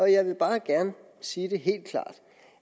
jeg vil bare gerne sige det helt klart